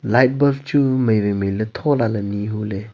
light bulb chu mai wai mai ley tho la ley nyi hu ley.